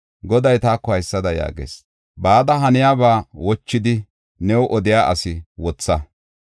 Goday taako haysada yaagis: “Bada haniyaba wochidi new odiya asi wotha.